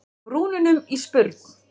brúnunum í spurn.